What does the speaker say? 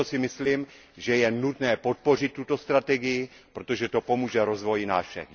Proto si myslím, že je nutné podpořit tuto strategii, protože to pomůže rozvoji nás všech.